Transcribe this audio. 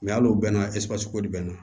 hal'o bɛɛ na bɛ na